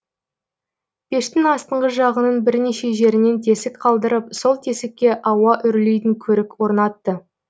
пештің астыңғы жағының бірнеше жерінен тесік қалдырып сол тесікке ауа үрлейтін көрік орнатты